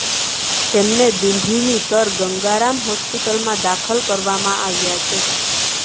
તેમને દિલ્હીની સર ગંગારામ હોસ્પિટલમાં દાખલ કરવામાં આવ્યા છે